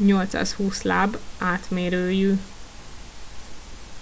328-820 láb átmérőjű